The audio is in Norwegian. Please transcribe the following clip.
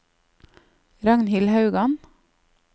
Ragnhild Haugan